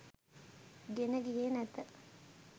ගෙන ගියේ නැත